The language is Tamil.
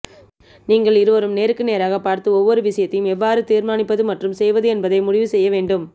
நீங்கள் இருவரும் நேருக்கு நேராகப் பார்த்து ஒவ்வொரு விஷயத்தையும் எவ்வாறு தீர்மானிப்பது மற்றும் செய்வது என்பதை முடிவு செய்ய வேண்டும்